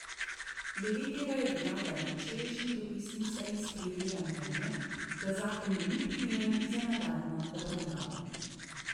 Glede tega je vlada na včerajšnji dopisni seji sprejela mnenje, da zakon ni primeren za nadaljnjo obravnavo.